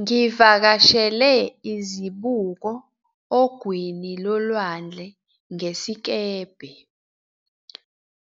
Ngivakashele izibuko ogwini lolwandle ngesikebhe,